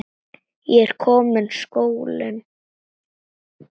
Það er kominn skóli.